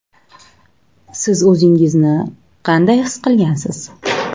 Siz o‘zingizni qanaqa his qilgansiz?